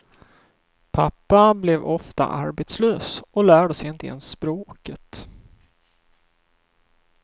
Pappa blev ofta arbetslös och lärde sig inte ens språket.